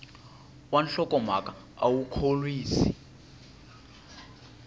wa nhlokomhaka a wu khorwisi